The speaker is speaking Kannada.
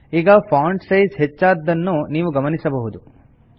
ಈಗ ಫಾಂಟ್ ಸೈಜ್ ಹೆಚ್ಚಾದದ್ದನ್ನು ನೀವು ಗಮನಿಸಬಹುದು